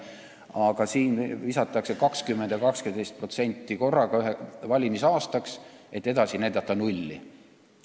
Aga siin visatakse valimisaastaks korraga 20% ja 18%, ning edasi näidatakse nulli.